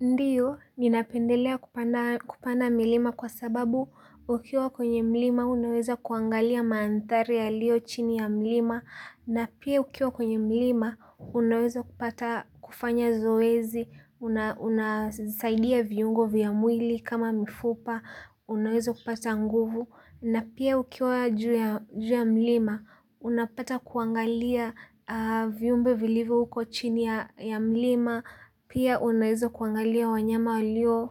Ndiyo, ninapendelea kupanda milima kwa sababu ukiwa kwenye milima unaweza kuangalia mandhari yalio chini ya milima na pia ukiwa kwenye milima unaweza kupata kufanya zoezi, unasaidia viungo vya mwili kama mifupa, unaweza kupata nguvu na pia ukiwa juu ya milima unapata kuangalia viumbe vilivyo huko chini ya milima pia unaweza kuangalia wanyama walio